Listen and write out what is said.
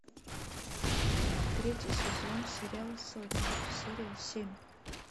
третий сезон сериал сотня серия семь